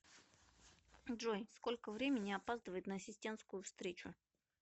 джой сколько времени опаздывает на ассистентскую встречу